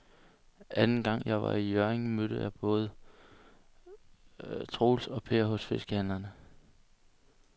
Anden gang jeg var i Hjørring, mødte jeg både Troels og Per hos fiskehandlerne.